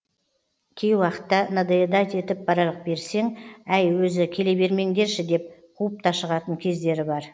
кей уақытта надоедать етіп бара берсең әй өзі келе бермеңдерші деп қуып та шығатын кездері бар